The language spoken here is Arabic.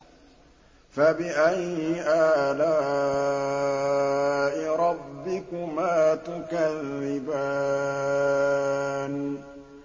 فَبِأَيِّ آلَاءِ رَبِّكُمَا تُكَذِّبَانِ